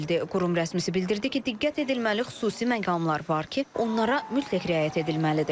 Qurum rəsmisi bildirdi ki, diqqət edilməli xüsusi məqamlar var ki, onlara mütləq riayət edilməlidir.